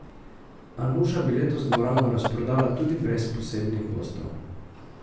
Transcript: A Nuša bi letos dvorano razprodala tudi brez posebnih gostov.